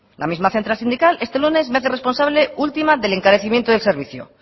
la misma central sindical este lunes me hace responsable última del encarecimiento del servicio